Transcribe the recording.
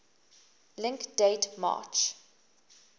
link date march